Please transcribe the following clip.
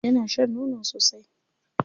Yana shan nono sosai.